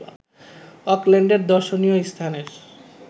অকল্যান্ডের দর্শনীয় স্থানের